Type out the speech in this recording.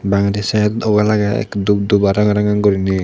bangedi side wala agey ekka dub dub r ranga ranga goriney.